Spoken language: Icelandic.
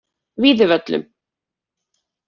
Víðivöllum